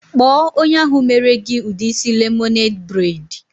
Kpo onye ahu mere gi udi isi lemonade braid